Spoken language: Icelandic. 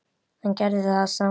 En gerði það samt.